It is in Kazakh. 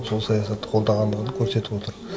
сол саясатты қолдағандығын көрсетіп отыр